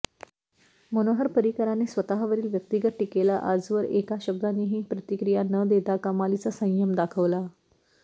मनोहर पर्रीकरांनी स्वतःवरील व्यक्तिगत टीकेला आजवर एका शब्दानेही प्रतिक्रिया न देता कमालीचा संयम दाखवला